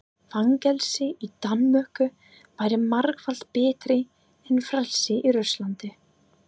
Fangelsi í Danmörku væri margfalt betra en frelsi í Rússlandi.